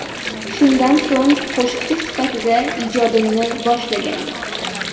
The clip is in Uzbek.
Shundan so‘ng qo‘shiqchi sifatida ijodimni boshlaganman.